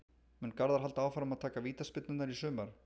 Mun Garðar halda áfram að taka vítaspyrnurnar í sumar?